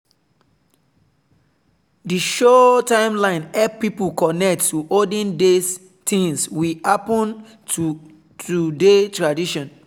di show timeline help people connect to olden days things we happen to today tradition.